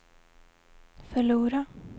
förlora